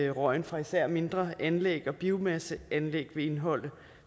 røgen fra især mindre anlæg og biomasseanlæg vil indeholde